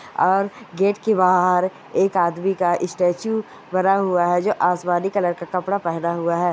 और गेट के बाहर एक आदमी का इस्टेच्यू बना हुआ है जो आसमानी कलर का कपड़ा पेहना हुआ है।